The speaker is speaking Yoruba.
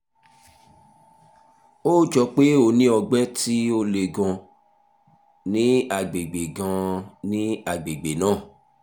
ó jọ pé o ní ọgbẹ́ tó le gan-an ní àgbègbè gan-an ní àgbègbè náà